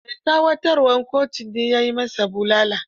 Mai tsawatarwar kotun ne ya yi ma sa bulala.